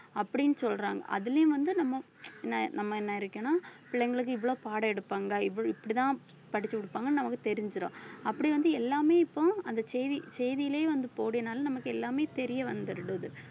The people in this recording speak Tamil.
அப்படின்னு சொல்றாங்க அதிலேயும் வந்து நம்ம நம்ம என்ன இருக்கணும் பிள்ளைங்களுக்கு இவ்வளவு பாடம் எடுப்பாங்க இப்படித்தான் படிச்சு கொடுப்பாங்கன்னு நமக்கு தெரிஞ்சிரும் அப்படி வந்து எல்லாமே இப்போ அந்த செய்தி~ செய்தியிலே வந்து நமக்கு எல்லாமே தெரியவந்துடுது